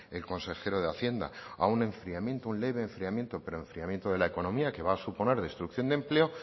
el consejero de hacienda a un enfriamiento un leve enfriamiento pero enfriamiento de la economía que va a suponer destrucción de empleo